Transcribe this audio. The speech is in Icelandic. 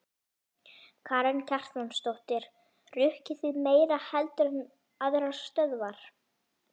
Karen Kjartansdóttir: Rukkið þið meira heldur en aðrar stöðvar?